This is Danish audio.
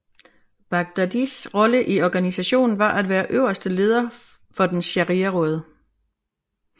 Baghdadis rolle i organisationen var at være øverste leder for dens shariaråd